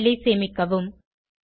file ஐ சேமிக்கவும்